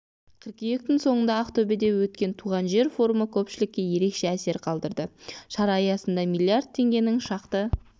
қыркүйектің соңында ақтөбеде өткен туған жер форумы көпшілікке ерекше әсер қалдырды шара аясында миллиард теңгенің шақты